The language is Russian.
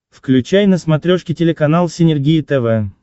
включай на смотрешке телеканал синергия тв